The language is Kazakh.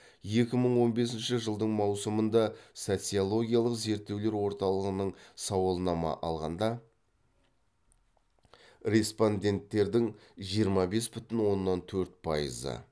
екі мың он бесінші жылдың маусымында социологиялық зерттеулер орталығының сауалнама алғанда респонденттердің жиырма бес бүтін оннан төрт пайызы